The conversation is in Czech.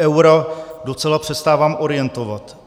eura docela přestávám orientovat.